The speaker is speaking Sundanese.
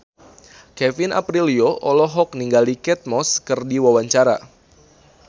Kevin Aprilio olohok ningali Kate Moss keur diwawancara